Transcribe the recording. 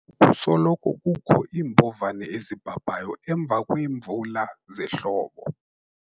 kusoloko kukho iimbovane ezibhabhayo emva kweemvula zehlobo